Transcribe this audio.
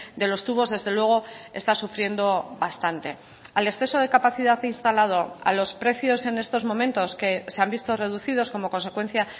de los tubos desde luego está sufriendo bastante al exceso de capacidad instalado a los precios en estos momentos que se han visto reducidos como consecuencia